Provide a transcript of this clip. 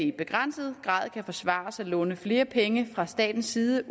i begrænset grad kan forsvares at låne flere penge fra statens side